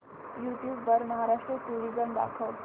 YouTube वर Maharashtra tourism दाखव